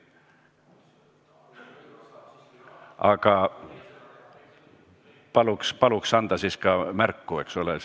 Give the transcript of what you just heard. Aga paluks siis ka märku anda, eks ole.